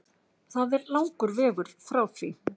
Það er langur vegur frá því